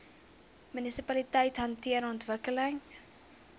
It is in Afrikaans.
munisipaliteite hanteer ontwikkeling